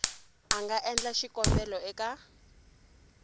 a nga endla xikombelo eka